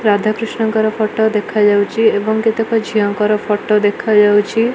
ରାଧାକ୍ରିଷ୍ଣଙ୍କର photo ଦେଖାଯାଉଚି ଏବଂ କେତେ ଝିଅଙ୍କର ଫଟ ଦେଖାଯାଉଚି ।